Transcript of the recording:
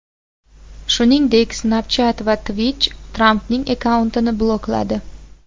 Shuningdek, Snapchat va Twitch Trampning akkauntini blokladi .